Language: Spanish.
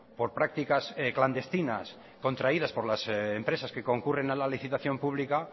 por prácticas clandestinas contraídas por las empresas que concurren a la legislación pública